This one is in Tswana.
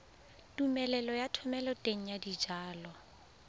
tumelelo ya thomeloteng ya dijalo